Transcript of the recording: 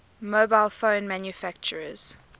mobile phone manufacturers